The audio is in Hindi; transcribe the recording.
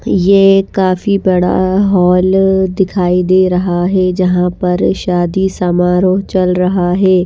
ये काफी बड़ा हॉल दिखाई दे रहा है जहां पर शादी समारोह चल रहा है।